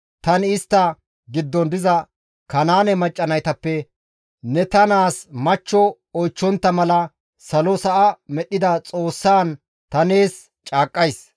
Tani istta giddon diza Kanaane macca naytappe ne ta naas machcho oychchontta mala salo sa7a medhdhida Xoossaan ta nees caaqqays;